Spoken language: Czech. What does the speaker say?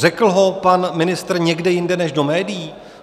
Řekl ho pan ministr někde jinde než do médií?